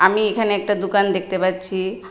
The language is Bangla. আমি এখানে একটা দোকান দেখতে পাচ্ছি।